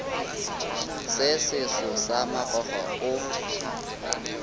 se seso sa makgwakgwa o